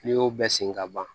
N'i y'o bɛɛ sen ka ban